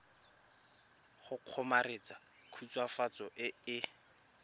go kgomaretsa khutswafatso e e